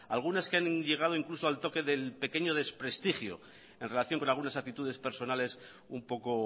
algunas que han llegado incluso al toque del pequeño desprestigio en relación con algunas actitudes personales un poco